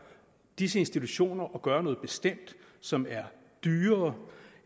disse institutioner at gøre noget bestemt som er dyrere